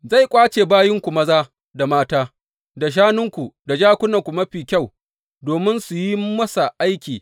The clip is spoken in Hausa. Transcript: Zai ƙwace bayinku maza da mata, da shanunku, da jakunanku mafi kyau domin su yi masa aiki.